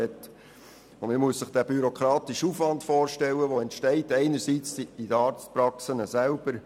Stellen Sie sich einmal den bürokratischen Aufwand vor, der einerseits bei den Arztpraxen selbst entsteht.